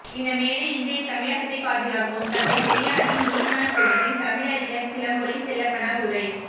இந்த மேடை இன்றைய தமிழகத்தைப் பாதுகாக்கும் தந்தை பெரியாரின் நினைவு நாள் கூட்டத்தில் தமிழறிஞர் சிலம்பொலி செல்லப்பனார் உரை